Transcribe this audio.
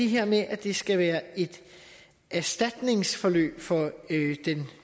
her med at det skal være et erstatningsforløb for den